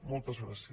moltes gràcies